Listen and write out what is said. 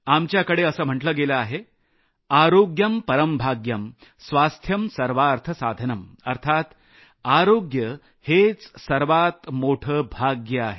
आपल्याकडे असं म्हटलं गेलं आहेआर्योग्यम परं भाग्यम स्वास्थ्यं सर्वार्थ साधनं अर्थात आरोग्य हेच सर्वात मोठं भाग्य आहे